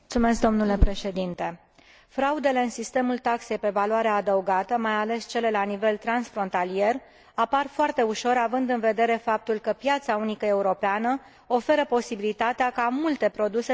Fraudele în sistemul taxei pe valoare adăugată, mai ales cele la nivel transfrontalier, apar foarte ușor, având în vedere faptul că piața unică europeană oferă posibilitatea ca multe produse să circule fără a fi taxate.